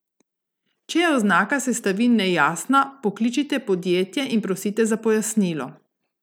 Če je oznaka sestavin nejasna, pokličite podjetje in prosite za pojasnilo.